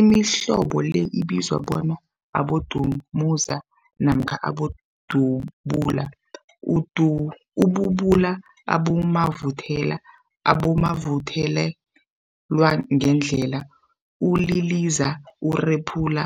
Imihlobo le ibizwa bona, abodumuza namkha abodubula, ububula, abomavuthelwa, abomavuthelwagandelela, uliliza, urephula,